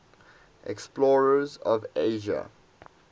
explorers of asia